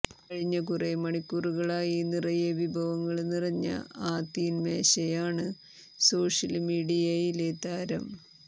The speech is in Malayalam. കഴിഞ്ഞ കുറേ മണിക്കൂറുകളായി നിറയെ വിഭവങ്ങള് നിറഞ്ഞ ആ തീന്മേശയാണ് സോഷ്യല് മീഡിയയിലെ താരം